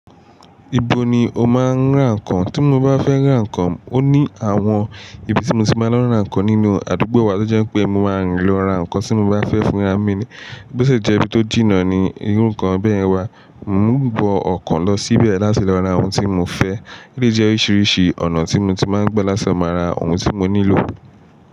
Ibo ni o máa ń ra nǹkan? Tí mo bá fẹ́ ra nǹkan, ó ní àwọn ibi tí mo ti máa lọ n ra nǹkan nínú àdúgbò wa tó jẹ́ pé mo máa rìn lọ ra nǹkan tí mo bá fẹ́ fúnra mi ni. Bóṣi jẹ́ ibi tó jìnnà ní irú nkan bẹ́yẹn wá, ń wọ ọkọ̀ lọ síbẹ̀ láti lọ ra ohun tí mo fẹ́. O lẹ́ jẹ́ oríṣiríṣi ọ̀nà tí mo ti máa ń gba láti máa ra ohun tí mo nílò.